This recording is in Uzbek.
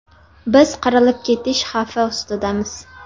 Biz qirilib ketish xavfi ostidamiz.